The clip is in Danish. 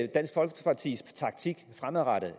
dansk folkepartis taktik fremadrettet